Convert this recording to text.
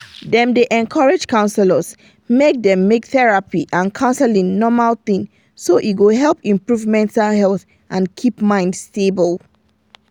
dem dey encourage counselors make dem make therapy and counseling normal thing so e go help improve mental health and keep mind stable.